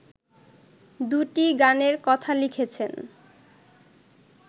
দুটি গানের কথা লিখেছেন